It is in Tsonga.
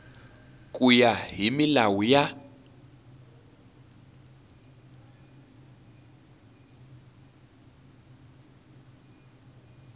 ku ya hi milawu ya